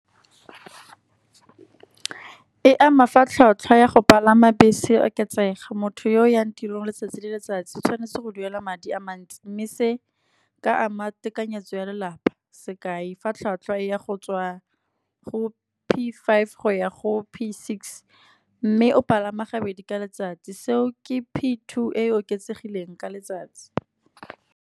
E ama fa tlhwatlhwa ya go palama bese e oketsega, motho yo o yang tirong letsatsi le letsatsi tshwanetse go duela madi a mantsi. Mme se ka ama tekanyetso ya lelapa, sekai fa tlhwatlhwa ya go tswa go P five go ya go P six, mme o palama gabedi ka letsatsi. Seo ke P two e e oketsegileng ka letsatsi.